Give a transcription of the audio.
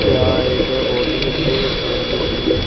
यहाँ एक बहोत ही अच्छे अ जोकि जे--